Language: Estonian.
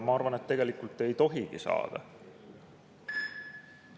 Ma arvan, et tegelikult ei tohigi saada.